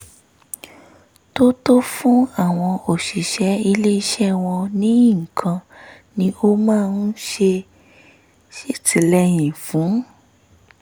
tó tọ́ fún àwọn òṣìṣẹ́ ilé iṣẹ́ wọn nìkan ni ó máa ń ṣètìlẹyìn fún